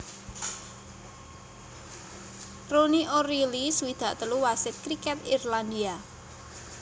Ronnie O Reilly swidak telu wasit kriket Irlandia